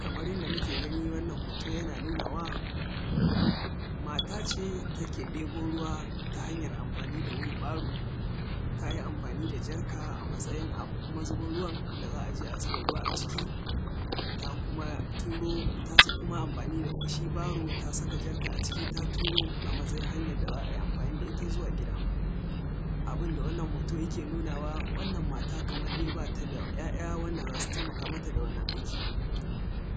Kamar yanda muke gani, wannan hoto yana nunawa mata ce da take ɗibo ruwa ta hanyar anfani da wil baro, ta yi amfani da jarka a matsayin abun mazubin ruwan da za a je a zuba ruwa a ciki. Ta kuma turo ta, kuma sa shi amfani da shi baro, ta saka jarka a ciki, ta turo a matsayin hanyar da za a yi amfani da ita zuwa gida. Abun da wannan hoto yake nunawa: wannan matar, kaman dai ba ta da ‘ya’ya wanda za su taimaka mata da wannan aiki,